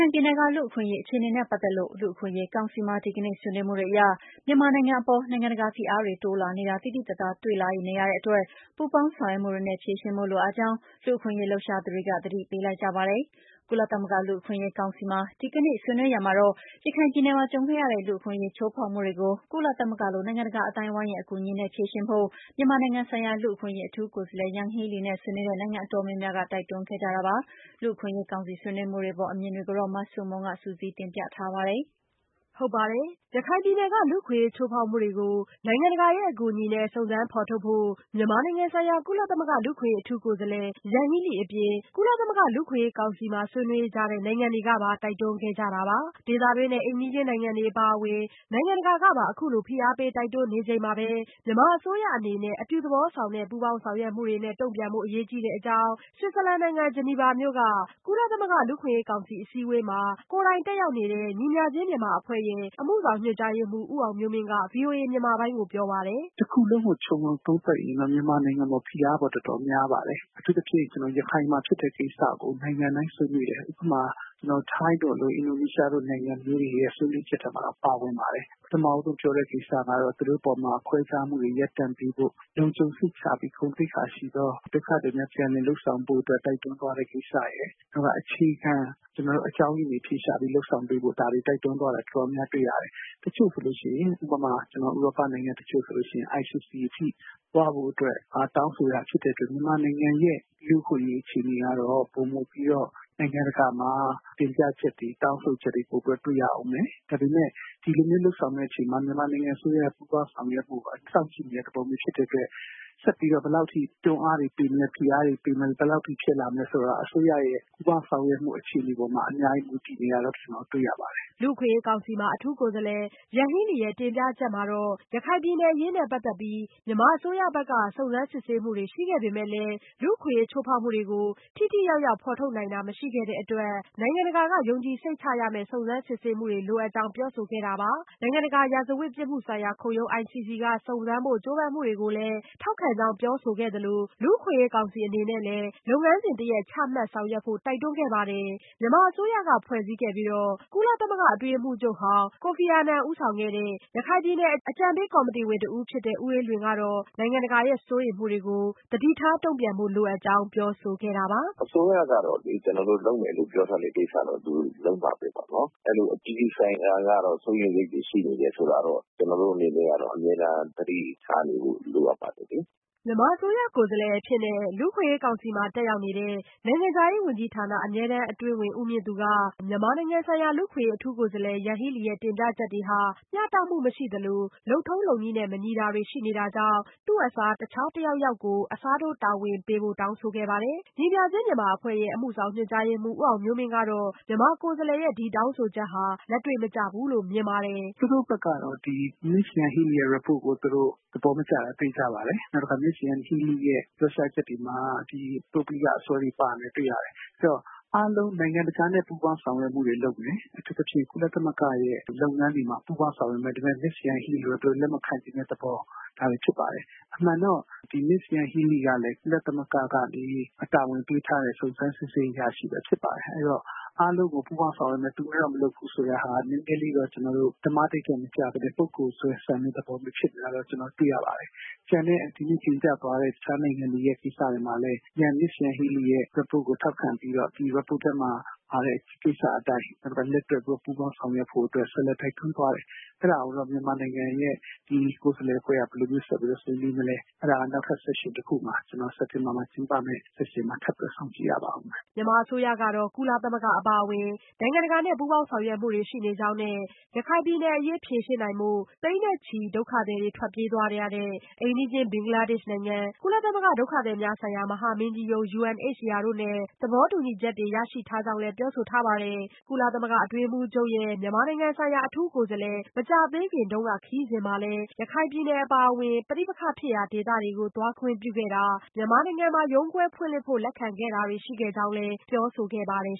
င်ပြည်နယ်က လူ့အခွင့်အရေး အခြေအနေနဲ့ ပတ်သက်လို့ လူ့အခွင့်အရေး ကောင်စီမှာ ဒီကနေ့ဆွေးနွေးမှုတွေအရ မြန်မာနိုင်ငံအပေါ် နိုင်ငံတကာ ဖိအားတွေ တိုးလာနေတာ သိသိသာသာ တွေ့လာနေရတဲ့အတွက် ပူးပေါင်းဆောင်ရွက်မှုတွေနဲ့ ဖြေရှင်းဖို့ လိုအပ်ကြောင်း လူ့အခွင့်အရေး လှုပ်ရှားသူတွေက သတိပေးလိုက်ကြပါတယ်။ ကုလသမဂ္ဂ လူ့အခွင့်အရေး ကောင်စီမှာ ဒီကနေ့ ဆွေးနွေးရာမှာတော့ ရခိုင်ပြည်နယ်မှာ ကြုံခဲ့ရတဲ့ လူ့အခွင့်အရေး ချိုးဖောက်မှုတွေကို ကုလသမဂ္ဂလို နိုင်ငံတကာ အသိုင်းအဝန်းရဲ့ အကူအညီနဲ့ ဖြေရှင်းဖို့ မြန်မာနိုင်ငံဆိုင်ရာ လူ့အခွင့်အရေး အထူးကိုယ်စားလှယ် Yanghee Lee နဲ့ ဆွေးနွေးတဲ့ နိုင်ငံတော်တော်များများက တိုက်တွန်းခဲ့ကြတာပါ။ လူ့အခွင့်အရေးကောင်စီ ဆွေးနွေးမှုတွေအပေါ် အမြင်တွေကိုတော့ မဆုမွန်က စုစည်းတင်ပြထားပါတယ်။ ရခိုင်ပြည်နယ်က လူ့အခွင့်အရေး ချိုးဖောက်မှုတွေကို နိုင်ငံတကာရဲ့ အကူအညီနဲ့ စုံစမ်းဖော်ထုတ်ဖို့ မြန်မာနိုင်ငံဆိုင်ရာ ကုလသမဂ္ဂ လူ့အခွင့်အရေး အထူးကိုယ်စားလှယ် Yanghee Lee အပြင်၊ ကုလသမဂ္ဂ လူ့အခွင့်အရေး ကောင်စီမှာ ဆွေးနွေးကြတဲ့ နိုင်ငံတွေကပါ တိုက်တွန်းခဲ့ကြတာပါ။ ဒေသတွင်းနဲ့ အိမ်နီးချင်း နိုင်ငံတွေ အပါအဝင် နိုင်ငံတကာကပါ ဖိအားပေး တိုက်တွန်းနေချိန်မှာ မြန်မာအစိုးရအနေနဲ့ အပြုသဘောဆောင်တဲ့ ပူးပေါင်းဆောင်ရွက်မှုတွေနဲ့ တုန့်ပြန်ဖို့ အရေးကြီးတဲ့အကြောင်း ဆွစ်ဇာလန်နိုင်ငံ ဂျနီဗာမြို့က ကုလသမဂ္ဂ လူ့အခွင့်အရေးကောင်စီ အစည်းအဝေးမှာ လေ့လာသူအဖြစ် ကိုယ်တိုင်တက်ရောက်နေတဲ့ ညီမျှခြင်းမြန်မာအဖွဲ့ရဲ့ အမှုဆောင်ညွန်ကြားရေးမှူး ဦးအောင်မျိုးမင်းက VOA မြန်မာပိုင်းကို ပြောပါတယ်။ "တခုလုံးကို ခြုံပြီးတော့ သုံးသပ်ရင်တော့ မြန်မာနိုင်ငံအပေါ် ဖိအားတော့ တော်တေ်ာများပါတယ်။ အထူးသဖြင့် ရခိုင်မှာ ဖြစ်တဲ့ကိစ္စကို နိုင်ငံတိုင်းဆွေးနွေးတယ်။ ဥပမာ ကျနော်တို့ ထိုင်းတို့လို အင်ဒိုနီးရှားနိုင်ငံမျိုးတွေရဲ့ ဆွေးနွေးချက်ထဲမှာတောင် ပါပါတယ်။ ပထမဦးဆုံးပြောတဲ့ကိစ္စကတော့ သူတို့အပေါ်မှာ ခွဲခြားမှုတွေရပ်တန့်ပေးဖို့၊ လုံခြုံစိတ်ချပြီး ဂုဏ်သိက္ခာရှိသော ဒုက္ခသည်များ ပြန်လည်လုပ်ဆောင်ပေးဖို့ တိုက်တွန်းသွားတဲ့ကိစ္စရယ်၊ နောက်ပြီးတော့ အခြေခံအကြောင်းအရင်းတွေ အဖြေရှာပြီးတော့ လုပ်ဆောင်ပေးဖို့ ဒါတွေ တိုက်တွန်းသွားတာ တော်တော်များများတွေ့ရတယ်။ တချို့ဥရောပနိုင်ငံတွေဆိုရင် ICC အထိသွားဖို့ တောင်းဆိုတာဖြစ်တဲ့အတွက် မြန်မာနိုင်ငံ လူ့အခွင့်အရေးကတော့ ပိုမိုပြီးတော့ နိုင်ငံတကာမှာ တင်ပြချက်တွေ တောင်းဆိုချက်တွေ ပိုပြီးတော့ တွေ့ရမယ်။ ဒါပေမယ့် ဒီလိုလုပ်ဆောင်တဲ့အချိန်မှာ မြန်မာနိုင်ငံအစိုးရရဲ့ ပူးပေါင်းဆောင်ရွက်မှုကို စောင့်ကြည့်နေတာဖြစ်တဲ့အတွက် ဆက်ပြီးတော့ ဘယ်လောက်အထိ တွန်းအားတွေပေးမလဲ ၊ ဖိအားတွေပေးမလဲ ဘယ်လောက်အထိ ဖြစ်လာမလဲဆိုတာ အစိုးရရဲ့ ပူးပေါင်းဆောင်ရွက်မှု အခြေအနေပေါ်မှာ အများကြီးမူတည်နေတာကို ကျနော်တွေ့ရပါတယ်။" လူ့အခွင့်အရေးကောင်စီမှာ အထူးကိုယ်စားလှယ် Yanghee Lee ရဲ့ တင်ပြချက်မှာတော့ ရခိုင်ပြည်နယ် အရေးနဲ့ ပတ်သက်လို့ မြန်မာအစိုးရက စုံစမ်းစစ်ဆေးမှုတွေ ရှိခဲ့ပေမဲ့လည်း၊ လူ့အခွင့်အရေး ချိုးဖောက်မှုတွေကို ထိထိရောက်ရောက် ဖော်ထုတ်နိုင်တာ မရှိခဲ့တဲ့အတွက် နိုင်ငံတကာက ယုံကြည်စိတ်ချရမယ့် စုံစမ်းစစ်ဆေးမှုတွေ လိုအပ်ကြောင်း ပြောဆိုခဲ့တာပါ။ နိုင်ငံတကာ ရာဇဝတ်ပြစ်မှုဆိုင်ရာခုံရုံး က စုံစမ်းဖို့ ကြိုးပမ်းမှုတွေကိုလည်း ထောက်ခံကြောင်း ပြောဆိုခဲ့သလို၊ လူ့အခွင့်အရေး ကောင်စီ အနေနဲ့လည်း လုပ်ငန်းစဉ်တရပ် ချမှတ်ဆောင်ရွက်ဖို့ တိုက်တွန်းခဲ့ပါတယ်။ မြန်မာအစိုးရက ဖွဲ့စည်းခဲ့ပြီး၊ ကုလသမဂ္ဂ အတွင်းရေးမှူးချုပ်ဟောင်း Kofi Annan ဦးဆောင်ခဲ့တဲ့ ရခိုင်ပြည်နယ် အကြံပေးကော်မရှင်ရဲ့အဖွဲ့ဝင်တဦးဖြစ်သူ ဦးအေးလွင် ကတော့ နိုင်ငံတကာရဲ့ စိုးရိမ်မှုတွေကို သတိထားတုံ့ပြန်ဖို့ လိုအပ်ကြောင်း ပြောဆိုခဲ့တာပါ။ "အစိုးရကတော့ လုပ်မယ်လို့ပြောတဲ့ ကိစ္စကတော့ လုပ်မှာပဲနော်။ အပြည်ပြည်ဆိုင်ရာ ကတော့ စိုးရိမ်စိတ်ရှိနေတယ်ဆိုတာကတော့ ကျနော်တို့အနေနဲ့ကတော့ အမြဲတမ်း သတိထားနေဖို့လိုအပ်ပါတယ်လေ။" မြန်မာအစိုးရကိုယ်စားလှယ်အဖြစ် လူ့အခွင့်အရေး ကောင်စီမှာ တက်ရောက်နေတဲ့ နိုင်ငံခြားရေးဝန်ကြီးဌာန အမြဲတမ်းအတွင်းဝန် ဦးမြင့်သူ ကတော့ မြန်မာနိုင်ငံဆိုင်ရာ လူ့အခွင့်အရေး အထူးကိုယ်စားလှယ် Yanghee Leeရဲ့ တင်ပြချက်တွေဟာ မျှတမှုမရှိသလို၊ လုပ်ထုံးလုပ်နည်းနဲ့ မညီတာတွေရှိနေတာကြောင့်၊ သူ့အစား တခြားသူတယောက်ယောက်ကို အစားထိုး တာဝန်ပေးဖို့ တောင်းဆိုခဲ့ပါတယ်။ ညီမျှခြင်းမြန်မာအဖွဲ့ရဲ့ အမှုဆောင်ညွန်ကြားရေးမှူး ဦးအောင်မျိုးမင်း ကတော့ မြန်မာကိုယ်စားလှယ်ရဲ့ ဒီတောင်းဆိုချက်ဟာ လက်တွေ့မကျဘူးလို့ မြင်ပါတယ်။ "သူတို့ဘက်ကတော့ မစ္စYanghee Leeရဲ့ Report ကို သူတို့သဘောမကျတာ သေချာပါတယ်။နောက်တခါ မစ္စYanghee Leeရဲ့ ပြောကြားချက်တွေမှာ ဒီ ပုဂ္ဂလိကအစွဲတွေပါနေတာတွေ့ရတယ်။ အဲဒီတော့ အားလုံး နိုင်ငံတကာနဲ့ ပူးပေါင်းဆောင်ရွက်လုပ်မယ် အထူးသဖြင့် ကုလသမဂ္ဂ ရဲ့ လုပ်ငန်းတွေမှာ ပူးပေါင်းဆောင်ရွက်မယ်မစ္စYanghee Lee ဆိုရင် လက်မခံချင်တဲ့သဘော ဒါတွေဖြစ်ပါတယ်။ အမှန်တော့ မစ္စYanghee Leeကလည်း ကုလသမဂ္ဂ ကနေ တာဝန်ပေးထားတဲ့ စုံစမ်းစစ်ဆေးရေးအရာရှိပဲဖြစ်ပါတယ်။ အားလုံးကို ပူးပေါင်းဆောင်ရွက်မယ် သူကိုတော့ မလုပ်ဘူးဆိုတာက နည်းနည်းလေး ဓမ္မဓိဌာန်မကျပဲနဲ့ ပုဂ္ဂိုလ်စွဲဆန်တဲ့သဘောပေါ့။ ကျန်တဲ့ သူတို့တင်ပြသွားတဲ့ တခြားနိုင်ငံတွေရဲ့ ကိစ္စတွေမှာလည်း မစ္စYanghee Leeရဲ့ Report ကိုထောက်ခံပြီးတော့ ဒီ Report ထဲမှာ ပါတဲ့ ကိစ္စအတိုင်း လက်တွဲပူးပေါင်းဆောင်ရွက်ဖို့အတွက် ဆက်ပြီးတော့ တိုက်တွန်းသွားတယ်။ အဲဒါကိုတော့ မြန်မာနိုင်ငံရဲ့ ကိုယ်စားလှယ်အဖွဲ့က ဘယ်လိုဆက်ပြီးတော့ ဆွေးနွေးမလဲ အဲဒါကတော့ စက်တင်ဘာမှာကျင်းပမယ့် နောက်ထပ် Section တခု မှာ ထပ်ပြီးတော့ စောင့်ကြည့်ရပါမယ်။" မြန်မာအစိုးရကတော့ ကုလသမဂ္ဂ အပါအဝင် နိုင်ငံတကာနဲ့ ပူးပေါင်းဆောင်ရွက်မှုတွေ ရှိနေကြောင်းနဲ့ ရခိုင်ပြည်နယ်အရေး ဖြေရှင်းဖို့ သိန်းနဲ့ချီတဲ့ ဒုက္ခသည်တွေ ထွက်ပြေးသွားတဲ့ အိမ်နီးချင်း ဘင်္ဂလားဒေ့ရှ်နိုင်ငံ၊ ကုလသမဂ္ဂ ဒုက္ခသည်များဆိုင်ရာ မဟာမင်းကြီးရုံး တို့နဲ့ နဲ့ သဘောတူညီချက်တွေ ရရှိထားကြောင်းလည်း ပြောဆိုထားတာပါ။ ကုလအတွင်းရေးမှူးချုပ်ရဲ့ မြန်မာနိုင်ငံဆိုင်ရာ အထူးကိုယ်စားလှယ်ရဲ့ မကြာသေးခင်တုန်းက ခရီးစဉ်မှာလည်း ရခိုင်ပြည်နယ်အပါအဝင် ပဋိပက္ခဖြစ်ရာ ဒေသတွေကို သွားခွင့်ပြုခဲ့တာ၊ မြန်မာနိုင်ငံမှာ ရုံးခွဲဖွင့်လှစ်ဖို့ လက်ခံခဲ့တာတွေ ရှိခဲ့ကြောင်းလည်း ပြောဆိုခဲ့ပါတယ်